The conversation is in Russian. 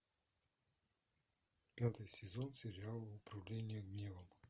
пятый сезон сериал управление гневом